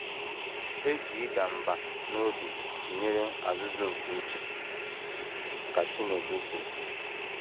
“ E ji ịda mbà n’obi tụnyere azụ̀zụ̀ nke uche, ” ka Chinedu kwuru.